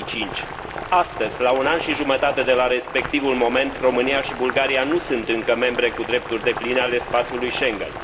2005. Astăzi, la un an și jumătate de la respectivul eveniment, România și Bulgaria nu sunt încă membre cu drepturi depline ale spațiului Schengen.